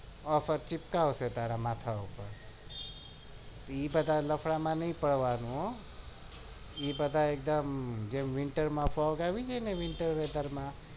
ઈ બધા લફડા માં નહિ પડવાનું હ ઈ બધા winter માં પગ આવી ગયો તો winter weather માં